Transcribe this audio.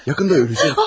Yaxında öləcək.